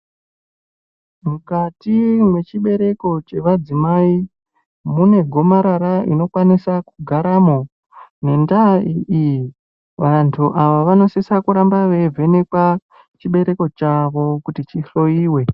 Mukati mechibereko chevadzimai, mune gomarara rinokwanisa kugaramo, nendaa iyi vantu ava vanosisa kuramba veivhenekwa chibereko chavo kuti chihloyiwe.